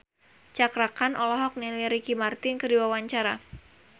Cakra Khan olohok ningali Ricky Martin keur diwawancara